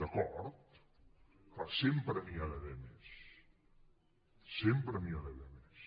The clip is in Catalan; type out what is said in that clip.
d’acord clar sempre n’hi ha d’haver més sempre n’hi ha d’haver més